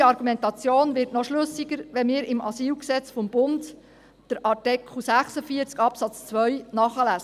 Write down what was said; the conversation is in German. Unsere Argumentation wird noch schlüssiger, wenn wir im Asylgesetz des Bundes (AsylG), in Artikel 46 Absatz 2 nachlesen.